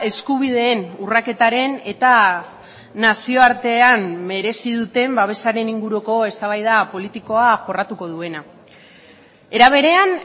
eskubideen urraketaren eta nazioartean merezi duten babesaren inguruko eztabaida politikoa jorratuko duena era berean